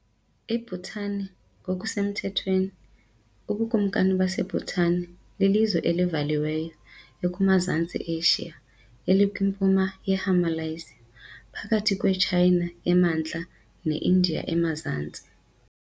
IBhutan ngokusemthethweni uBukumkani baseBhutan, lilizwe elivaliweyo ekuMazantsi eAsia, elikwiMpuma yeHimalayas, phakathi kweTshayina emantla neIndiya emazantsi.